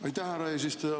Aitäh, härra eesistuja!